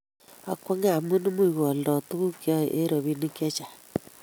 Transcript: Akwange amu muuch koaldo tuguk choe eng robinik chechang